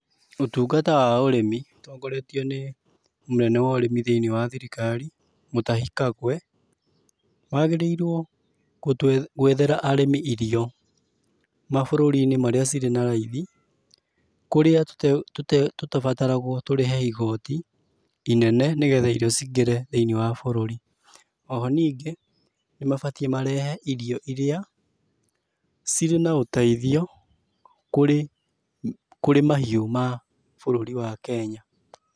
Ũtungata wa ũrĩmi ũtongoretio nĩ mũnene wa ũrimi thĩiniĩ wa thirikari, Mũtahi Kagwe, wagĩrĩirũo gũtũ gwethera arĩmi irio, mabũrũri-inĩ marĩa cirĩ na raithi, kũrĩa tũtabataragũo tũrĩhe igoti inene nĩgetha irio cingĩre thĩiniĩ wa bũrũri. Oho ningĩ, nĩmabatiĩ marehe irio irĩa cirĩ na ũtheithio kũrĩ kũrĩ mahiũ ma bũrũri wa Kenya.